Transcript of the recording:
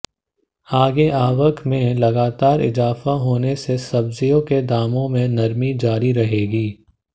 आगे आवक में लगातार इजाफा होने से सब्जियों के दामों में नरमी जारी रहेगी